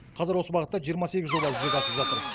қазір осы бағытта жиырма сегіз жоба жүзеге асып жатыр